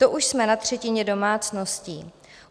To už jsme na třetině domácností.